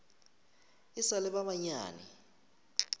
e sa le ba banyane